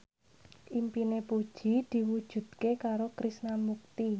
impine Puji diwujudke karo Krishna Mukti